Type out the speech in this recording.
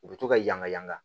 U bɛ to ka yaala yaala